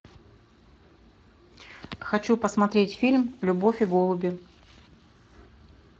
хочу посмотреть фильм любовь и голуби